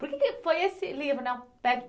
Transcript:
Por que que foi esse livro, né?